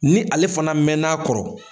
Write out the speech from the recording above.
Ni ale fana mɛn n'a kɔrɔ